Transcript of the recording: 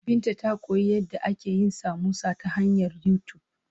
Binta ta koyi yadda ake yin samosa ta hanyar YouTube.